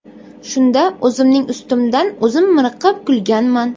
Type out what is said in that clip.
Shunda o‘zimning ustimdan o‘zim miriqib kulganman.